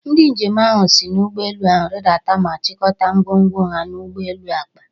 Ndị njem ahụ si n'ụgbọelu ahụ rịdata ma chịkọta ngwongwo ha n'ụgbọelu akpa.